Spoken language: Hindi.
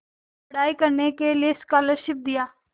पढ़ाई करने के लिए स्कॉलरशिप दिया